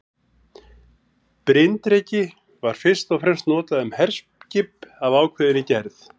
Bryndreki var fyrst og fremst notað um herskip af ákveðinni gerð.